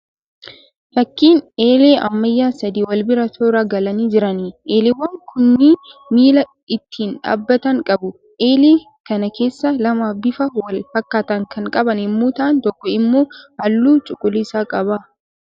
Fakkiin eelee ammayyaa sadii wal bira toora galanii jiraniidha, Eeleewwan kunnii miila ittiin dhaabbatan qabu. Eelee kana keessaa lama bifa wal fakkaataa kan qaban yemmuu ta'aan tokko immoo halluu cuquliisa qaba.